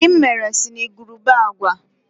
Ogiri m mere si na igurube agwa.